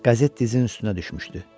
Qəzet dizinin üstünə düşmüşdü.